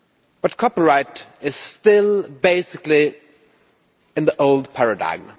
But copyright is still basically in the old paradigm.